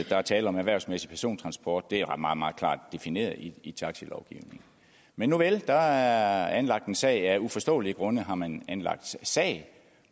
er tale om erhvervsmæssig persontransport det er meget meget klart defineret i i taxilovgivningen men nuvel der er anlagt en sag af uforståelige grunde har man anlagt sag